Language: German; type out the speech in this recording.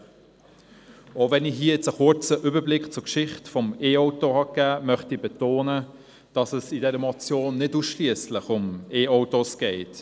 Auch wenn ich hier einen kurzen Überblick zur Geschichte der Elektroautos gegeben habe, möchte ich betonen, dass es in dieser Motion nicht ausschliesslich um Elektroautos geht.